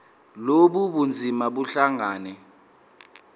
lobu bunzima buhlangane